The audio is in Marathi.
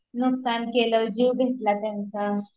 नुकसान झालं, जीव घेतला त्यांचा